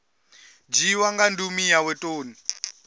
dzhiiwa nga ndumi yawe toni